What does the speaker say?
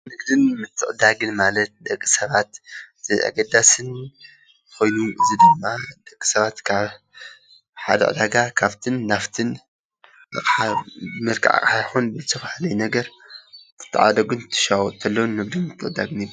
ንግድን ምትዕድዳግን ማለት ደቂ ሰባት አገዳሲን ኮይኑ ዝርከብ፤ ደቂ ሰባት ካብ ሓደ ዕዳጋ ካብቲን ናብቲን ብመልክዕ አቅሓ ይኩን ብዝተፈላለየ ነገር እንትተዓደጉን እንትሻወጡን ከለው ንግድን ምትዕድዳግን እዩ፡፡